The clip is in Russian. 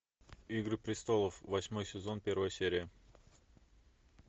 игры престолов восьмой сезон первая серия